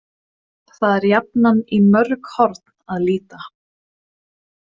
Það er jafnan í mörg horn að líta.